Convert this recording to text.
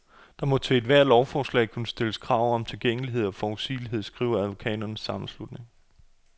Der må til ethvert lovforslag kunne stilles krav om tilgængelighed og forudsigelighed, skriver advokaternes sammenslutning.